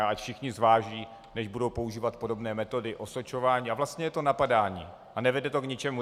A ať všichni zváží, než budou používat podobné metody osočování, a vlastně je to napadání a nevede to k ničemu.